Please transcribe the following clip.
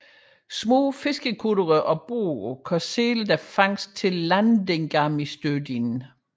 Små fiskekuttere og både kan sælge deres fangst til Landingarmistøðin